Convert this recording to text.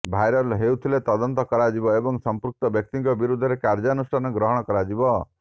viral ହୋଇଥିଲେ ତଦନ୍ତ କରାଯିବ ଏବଂ ସମ୍ପୃକ୍ତ ବ୍ୟକ୍ତିଙ୍କ ବିରୋଧରେ କାର୍ଯ୍ୟାନୁଷ୍ଠାନ ଗ୍ରହଣ କରାଯିବ